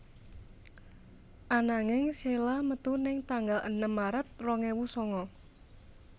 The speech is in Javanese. Ananging sheila metu ning tanggal enem Maret rong ewu sanga